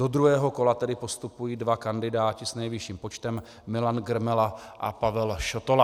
Do druhého kola tedy postupují dva kandidáti s nejvyšším počtem, Milan Grmela a Pavel Šotola.